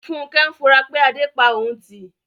Funkẹ́ ń fura pé Adé pa òun tì